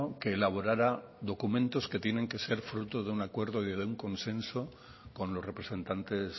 que elaborara documentos que tiene que ser fruto de un acuerdo y de un consenso con los representantes